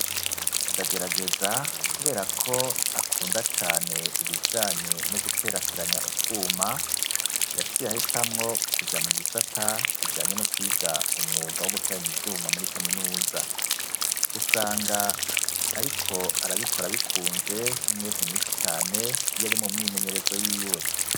ndagerageza kubera ko akunda cane ibijanye no guterateranya utwuma yaciye ahitamwo kuja mu gisata kijanye no kwiga umwuga wo guteranya ivyuma muri kaminuza usanga ariko arabikora bikunze n'umwete mwinshi cane yari mu myimenyerezo y'iwe